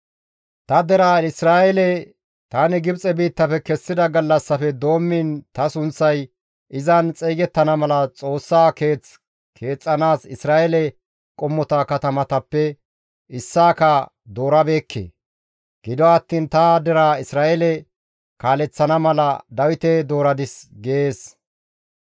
‹Ta deraa Isra7eele tani Gibxe biittafe kessida gallassafe doommiin ta sunththay izan xeygettana mala Xoossaa keeth keexxanaas Isra7eele qommota katamatappe issaaka doorabeekke; gido attiin ta deraa Isra7eele kaaleththana mala Dawite dooradis› gees.